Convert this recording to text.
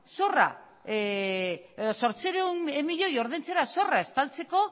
zorra edo zortziehun milioi ordaintzera zorra estaltzeko